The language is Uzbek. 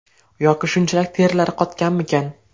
Yoki shunchalik terilari qotganmikan?